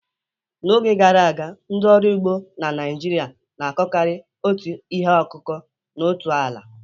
N'oge gara aga, ndị ọrụ ugbo na Naịjirịa na-akụkarị otu ihe akụkụ n'otu ala.